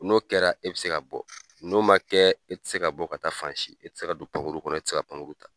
N'o kɛra e bɛ se ka bɔ. N'o ma kɛ, e ti se ka bɔ ka taa fan si, e ti se ka don pankuru kɔnɔ, e ti se ka pankuru ta.